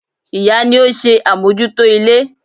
Ìyá ni ó ń ṣe àmójútó ilé.